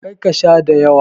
Kar ka Sha dayawa.